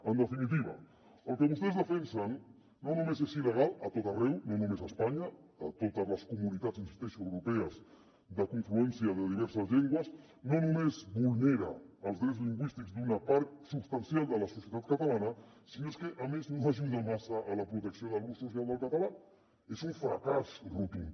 en definitiva el que vostès defensen no només és il·legal a tot arreu no només a espanya a totes les comunitats hi insisteixo europees de confluència de diverses llengües no només vulnera els drets lingüístics d’una part substancial de la societat catalana sinó que a més no ajuda massa a la protecció de l’ús social del català és un fracàs rotund